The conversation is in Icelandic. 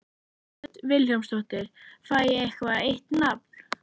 Hödd Vilhjálmsdóttir: Fæ ég eitthvað eitt nafn?